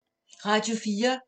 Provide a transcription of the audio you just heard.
Radio 4